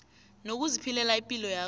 nokuziphilela ipilo yakho